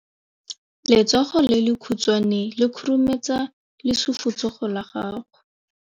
Letsogo le lekhutshwane le khurumetsa lesufutsogo la gago.